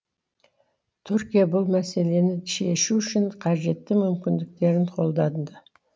түркия бұл мәселені шешу үшін қажетті мүмкіндіктерін қолданды